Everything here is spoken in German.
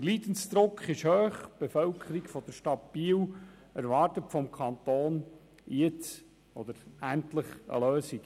Der Leidensdruck ist hoch, die Bevölkerung der Stadt Biel erwartet vom Kanton jetzt endlich eine Lösung.